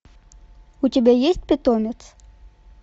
у тебя есть питомец